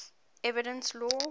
evidence law